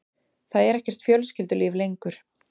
Það er ekkert fjölskyldulíf lengur.